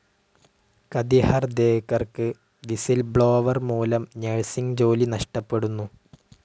കധി ഹർദേക്കർക്ക് വിസ്സിൽബ്ലോവർ മൂലം നർസിങ്‌ ജോലി നഷ്ടപ്പെടുന്നു.